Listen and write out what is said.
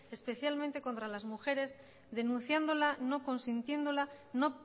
especialmente contra las mujeres denunciándola no consintiéndola no